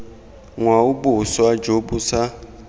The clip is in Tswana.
ngwao boswa jo bo sa